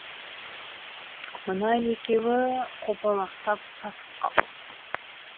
мына екеуі қопалақтап сасып қалды